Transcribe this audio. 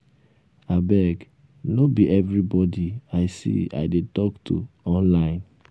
abeg no um be anybody i see i dey talk to um online um